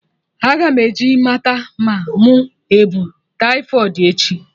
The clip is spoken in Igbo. Aga m eje mata ma mụ ebu taifọịdi echi